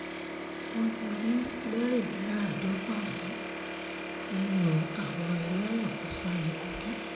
wọ́n ti rí mẹ́rìnléláàádọ́fà mú nínú àwọn ẹlẹ́wọ̀n tó sá ní kogi